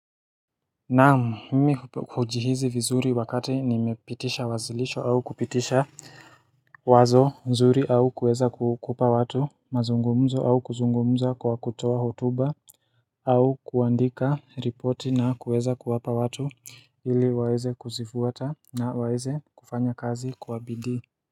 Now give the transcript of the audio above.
Naam mimi hujihizi vizuri wakati nimepitisha wazilisho au kupitisha Wazo nzuri au kueza kukupa watu, mazungumzo au kuzungumza kwa kutowa hutuba, au kuandika ripoti na kueza kuwapa watu ili waeze kuzifuata na waeze kufanya kazi kuwabidi.